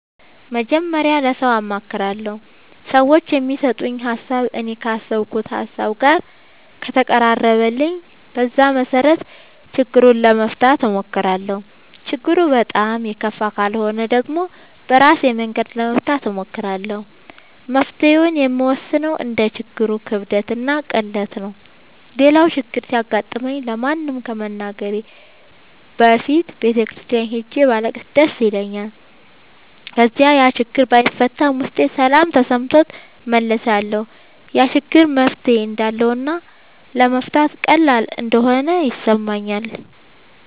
መጀመሪያ ለሠው አማክራለሁ። ሠዎቹ የሚሠጡኝ ሀሣብ እኔ ካሠብኩት ሀሳብ ጋር ከተቀራረበልኝ በዛ መሠረት ችግሩን ለመፍታት እሞክራለሁ። ችግሩ በጣም የከፋ ካልሆነ ደግሞ በራሴ መንገድ ለመፍታት እሞክራለሁ። መፍትሔውን የምወስነው እንደ ችግሩ ክብደትና ቅለት ነው። ሌላው ችግር ሲገጥመኝ ለማንም ከመናገሬ በፊት ቤተ ክርስቲያን ሄጄ ባለቅስ ደስ ይለኛል። ከዚያ ያችግር ባይፈታም ውስጤ ሠላም ተሠምቶት እመለሳለሁ። ያ ችግር መፍትሔ እንዳለውና ለመፍታት ቀላል እንደሆነ ይሠማኛል።